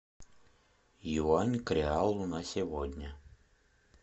юань к реалу на сегодня